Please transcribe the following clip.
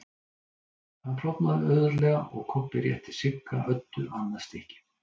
Hann klofnaði auðveldlega og Kobbi rétti Sigga Öddu annað stykkið.